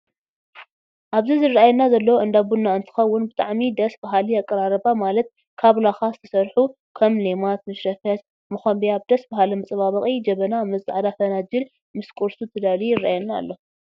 ኣብዚ ዝረኣና ዘሎ እንዳ ቡና እንትከውን ብጣዕሚ ደስ ባሀሊ ኣቀራርባ ማለት ካብ ላካ ዝተሰርሑ ከም ሌማት፣ መሽረፈት፣ መከቢያ ብደስ በሃሊ መፃበቂ ጀበና ምስ ፃዕዳ ፈናጅል ምስ ቁርሱ ተዳልዩ የረኣየና ኣሎ።